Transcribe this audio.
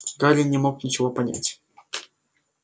гарри не мог ничего понять